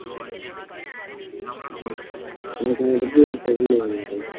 உம் எனக்கு அதைப்பத்தி எதுவும் தெரியலை